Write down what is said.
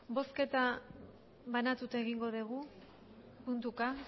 bozketa banatuta egingo dugu puntuka